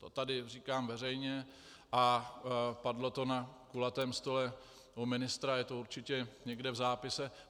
To tady říkám veřejně a padlo to na kulatém stole u ministra, je to určitě někde v zápise.